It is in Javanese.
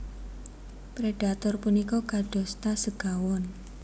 Predhator punika kadosta segawon